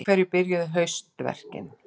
Á hverju byrjuðu haustverkin?